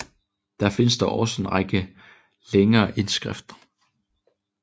Der findes dog også en række længere indskrifter